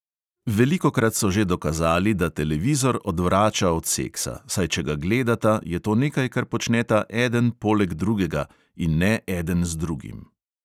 Velikokrat so že dokazali, da televizor odvrača od seksa, saj če ga gledata, je to nekaj, kar počneta eden poleg drugega in ne eden z drugim.